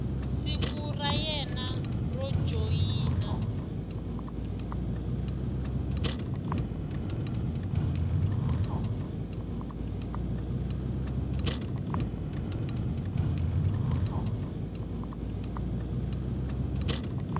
siku ra wena ro joyina